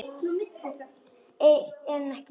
En ekki Kobbi.